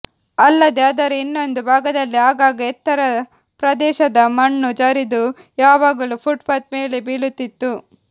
ಅಲ್ಲದೇ ಅದರ ಇನ್ನೊಂದು ಭಾಗದಲ್ಲಿ ಆಗಾಗ ಎತ್ತರ ಪ್ರದೇಶದ ಮಣ್ಣು ಜರಿದು ಯಾವಾಗಲೂ ಪುಟ್ಪಾಥ್ ಮೇಲೆ ಬೀಳುತ್ತಿತ್ತು